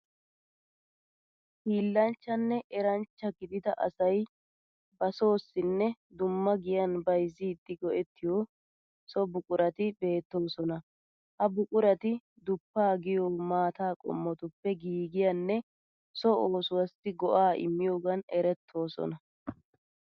Hiillanchchanne eranchcha gidida asay ba soossinne dumma giyan bayizzidi go'ettiyo so buqurati beettoosona. Ha buqurati duppaa giyo maataa qommotuppe giigiyanne so oosuwaassi go'aa immiyogan erettoosona